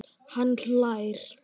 Hann hlær.